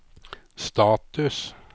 status